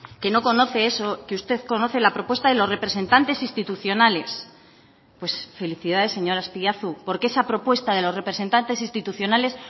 que no conoce eso que usted conoce la propuesta de los representantes institucionales pues felicidades señor azpiazu porque esa propuesta de los representantes institucionales